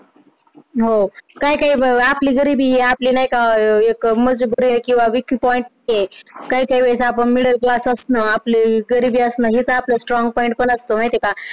हो, काही काही बरोबर आपली गरिबी आहे आपले नाही का अं एक मजबुरी आहे किंवा weak point चे काही काही वेळेस आपण middle class च आपले गरिबी असणं हेच strong point पण असतं माहिती आहे का